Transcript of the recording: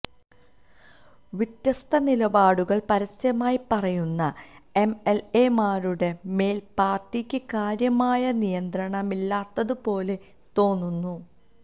വ്യത്യസ്ത നിലപാടുകൾ പരസ്യമായി പറയുന്ന എംഎൽഎമാരുടെ മേൽ പാർട്ടിക്ക് കാര്യമായ നിയന്ത്രണമില്ലാത്തതുപോലെ തോന്നുന്നു